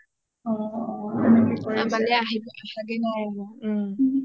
আমালে আহাগে নাই আৰু